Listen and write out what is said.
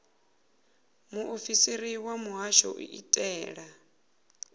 muofisiri wa muhasho u itela